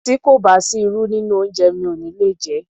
Tí kò bá sí irú nínú oúnjẹ mi ò ní le jé.